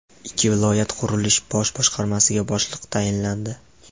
Ikkita viloyat qurilish bosh boshqarmasiga boshliq tayinlandi.